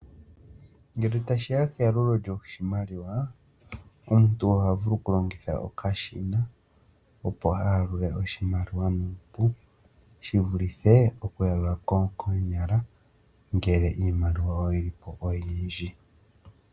Ngele tashi ya keyalulo lyoshimaliwa, omuntu oha vulu okulongitha okashina, opo a yalule oshimaliwa nuupu shi vulithe okuyalula koonyala, ngele iimaliwa oyi li po oyindji.